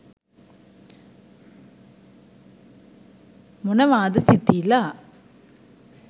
මොනවාද සිතීලා